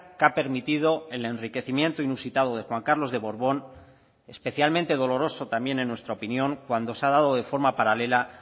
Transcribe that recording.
que ha permitido el enriquecimiento inusitado de juan carlos de borbón especialmente doloroso también en nuestra opinión cuando se ha dado de forma paralela